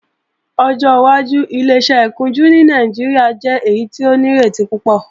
Ọjọ́ wájú Ileṣẹ́ ìkunjú ní Nàìjíríà jẹ́ èyí tó nírètí púpọ̀